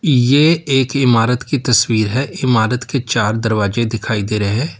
ये एक इमारत की तस्वीर है इमारत के चार दरवाजे दिखाई दे रहे हैं।